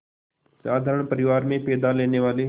साधारण परिवार में पैदा लेने वाले